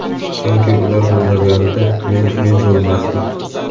chunki ular bo‘lmaganida men "men" bo‘lmasdim.